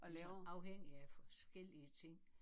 Altså afhængigt af forskellige ting